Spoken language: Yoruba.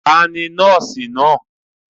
Ta ni nọ́ọ́sì náà?